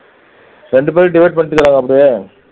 ரெண்டு பேரும் divide பண்ணிருக்காங்க அப்படியே